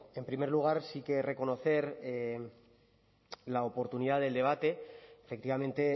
en primer lugar sí que reconocer la oportunidad del debate efectivamente